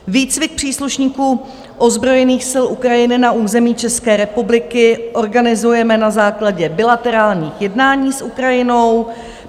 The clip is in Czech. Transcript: Výcvik příslušníků ozbrojených sil Ukrajiny na území České republiky organizujeme na základě bilaterálních jednání s Ukrajinou.